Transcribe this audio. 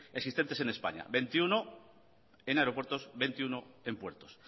existentes en españa veintiuno en aeropuertos veintiuno en puertos